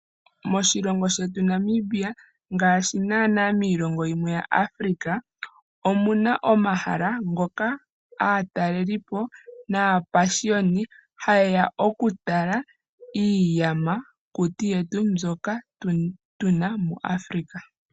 Moshilongo shetu Namibia ngaashi naana miilongo yimwe ya Africa omunaomahala ngoka aatalelipo naapashiyoni haye ya okutala iiyamakuti yetu mbyoka tuna muAfrica.